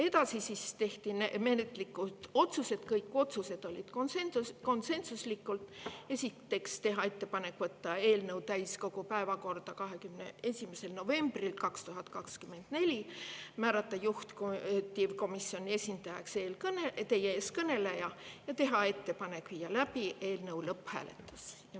Edasi tehti menetluslikud otsused, kõik otsused olid konsensuslikud: teha ettepanek võtta eelnõu täiskogu päevakorda 21. novembril 2024, määrata juhtivkomisjoni esindajaks teie ees kõneleja ja teha ettepanek viia läbi eelnõu lõpphääletus.